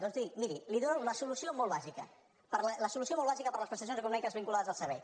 doncs miri li dono la solució molt bàsica per a les prestacions econòmiques vinculades a servei